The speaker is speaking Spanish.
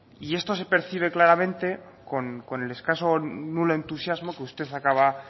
esto se percibe claramente con el escaso o nulo entusiasmo que usted acaba